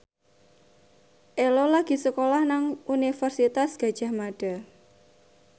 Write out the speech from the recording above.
Ello lagi sekolah nang Universitas Gadjah Mada